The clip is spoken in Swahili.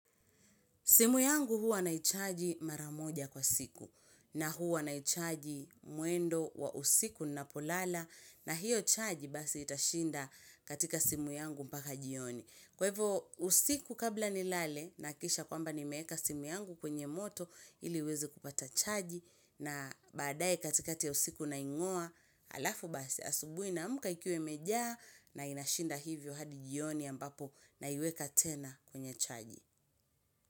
Simu yangu huwa naichaji mara moja kwa siku na huwa naichaji muendo wa usiku ninapo lala na hiyo charge basi itashinda katika simu yangu mpaka jioni. Kwa hivo usiku kabla nilale nahakikisha kwamba nimeeka simu yangu kwenye moto ili iweze kupata charji na badae katikati ya usiku na naing'oa alafu basi asubui naamka ikiwa imejaa na inashinda hivyo hadi jioni ambapo naiweka tena kwenye charji.